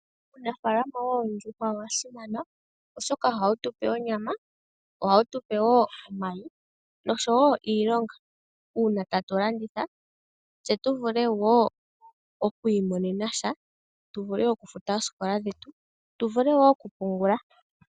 Uunafaalama woondjuhwa owasimana oshoka ohawutupe onyama ohawutupe wo omayi noshowo iilonga uuna tatu landitha. Tse tuvule wo oku imonena sha tuvule okufuta oosikola dhetu tuvule wo okupungula.